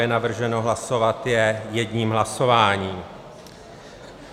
Je navrženo hlasovat je jedním hlasováním.